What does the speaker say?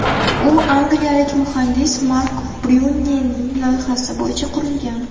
U angliyalik muhandis Mark Bryunelning loyihasi bo‘yicha qurilgan.